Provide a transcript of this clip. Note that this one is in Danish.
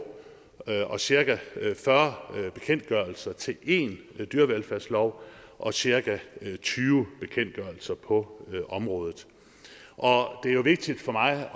og cirka fyrre bekendtgørelser til en dyrevelfærdslov og cirka tyve bekendtgørelser på området og det er vigtigt for mig at